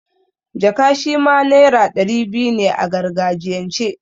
Jaka' shima naira ɗari biyu ne a gargajiyan ce.